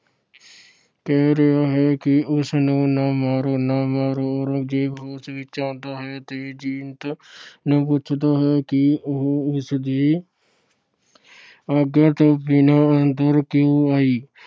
ਕਹਿ ਰਿਹਾ ਹੈ ਕਿ ਉਸ ਨੂੰ ਨਾ ਮਾਰੋ, ਨਾ ਮਾਰੋ। ਔਰੰਗਜ਼ੇਬ ਹੋਸ਼ ਵਿੱਚ ਆਉਂਦਾ ਹੈ ਅਤੇ ਜੀਨਤ ਨੂੰ ਪੁੱਛਦਾ ਹੈ ਕਿ ਉਹ ਉਸ ਦੀ ਆਗਿਆ ਤੋਂ ਬਿਨਾਂ ਅੰਦਰ ਕਿਉਂ ਆਈ।